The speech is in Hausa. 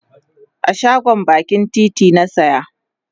a shagon bakin titi na saya